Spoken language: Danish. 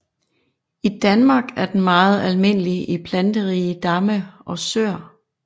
I Danmark er den meget almindelig i planterige damme og søer